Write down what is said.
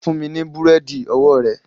Fún mi ní búrẹ́dì ọwọ́ rẹ